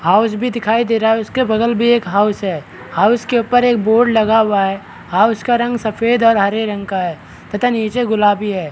House भी दिखाई दे रहा है उसके बगल भी एक हाउस है हाउस के ऊपर एक बोर्ड लगा हुआ है हाउस का रंग सफ़ेद और हरे रंग का है तथा नीचे गुलाबी है।